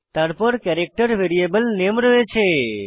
তারপর character variable রূপে নামে রয়েছে